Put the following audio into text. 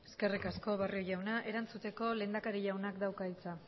eskerrik asko barrio jauna erantzuteko lehendakari jaunak dauka hitza